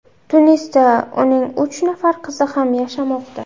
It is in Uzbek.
Tunisda uning uch nafar qizi ham yashamoqda.